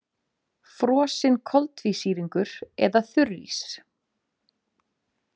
Frosinn koltvísýringur eða þurrís.